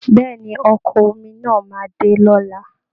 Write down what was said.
Bẹ́ẹ̀ ni, Ọkọ̀ omi náà máa dé lọ́la